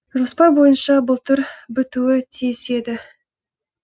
жоспар бойынша былтыр бітуі тиіс еді